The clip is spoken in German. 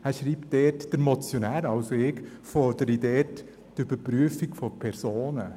er schreibt dort, der Motionär – also ich – fordere dort die Überprüfung von Personen.